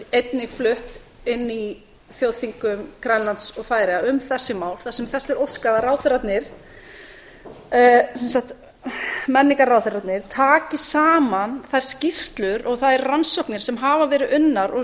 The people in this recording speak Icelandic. einnig flutt inni í þjóðþingum grænlands og færeyja um þessi mál þar sem þess er óskað að ráðherrarnir sem sagt menningarráðherrarnir taki saman þær skýrslur og þær rannsóknir sem hafa verið unnar og